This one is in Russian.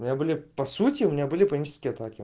у меня были по сути у меня были панические атаки